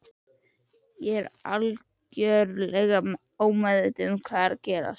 En ég var algjörlega ómeðvituð um hvað var að gerast.